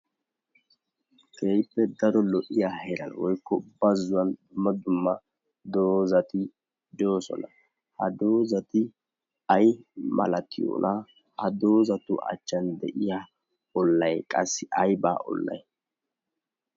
Keehippe daro lo'iya heera woykko bazzuwan dumma dumma dozati doosona. ha doozati ay malatiyoona? ha doozatu achchan de'iya ollay qassi aybaa ollay?